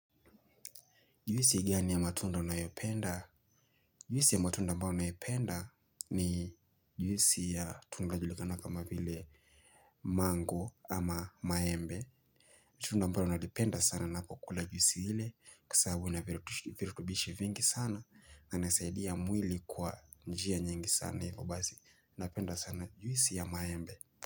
Juhisi gani ya matunda unayopenda? Juhisi ya matunda ambao nayopenda ni juhisi ya tunda lajulikana kama vile mango ama maembe. Juisi ya matunda ambayo unayopenda sana napokula juisi ile kwa sababu ina virutubishi vingi sana na inasaidia mwili kwa njia nyingi sana hivyo basi. Napenda sana juisi ya maembe.